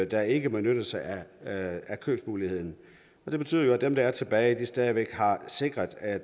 der ikke benytter sig af købsmuligheden det betyder jo at dem der er tilbage stadig væk er sikret at